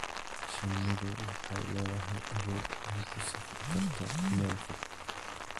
Shinnidu waxay leedahay awood ay ku safri karto meel fog.